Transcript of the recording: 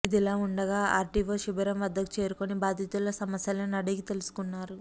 ఇదిలా వుండగా ఆర్డీఓ శిబిరం వద్దకు చేరుకుని బాధితుల సమస్యలను అడిగి తెలుసుకున్నారు